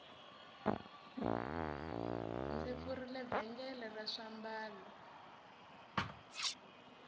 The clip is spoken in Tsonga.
ndzi pfurile vhengele ra swiambalo